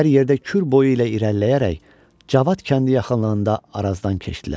Hər yerdə kür boyu ilə irəliləyərək Cavad kəndi yaxınlığında Arazdan keçdilər.